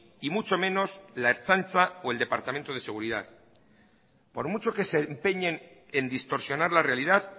y mucho menos la ertzaintza o el departamento de seguridad por mucho que se empeñen en distorsionar la realidad